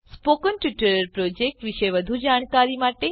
spoken tutorial project વિશે વધુ જાણકારી માટે